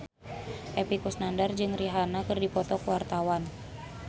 Epy Kusnandar jeung Rihanna keur dipoto ku wartawan